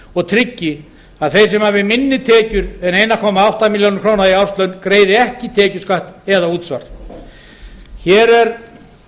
og tryggi að þeir sem hafa minni tekjur en einn komma átta milljónir króna í árslaun greiði hvorki tekjuskatt né útsvar hér er